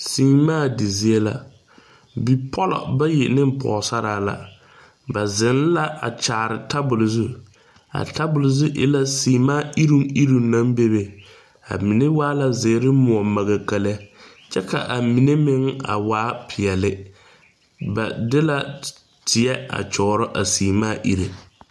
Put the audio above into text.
Semaa de zie la. Bipɔlɔ bayi ne pɔgɔsaraa la. Ba zeŋ la a kyaare tabul zu. A tabul zu e la semaa irruŋ irruŋ na bebe. A mene waa la ziire muo makaka lɛ. Kyɛ ka a mene meŋ a waa piɛli. Ba de la teɛ a kyɔro a semaa irreɛ